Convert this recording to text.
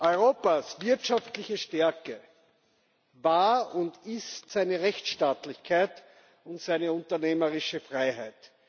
Europas wirtschaftliche Stärke war und ist seine Rechtsstaatlichkeit und seine unternehmerische Freiheit.